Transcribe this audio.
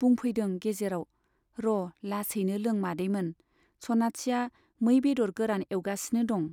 बुंफैदों गेजेराव, र' लासैनो लों मादैमोन, सनाथिया मै बेदर गोरान एउगासिनो दं।